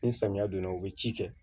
Ni samiya donna u bɛ ci kɛ